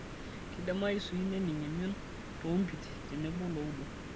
Keidimayu sii nening' emion toompit tenebo looudo.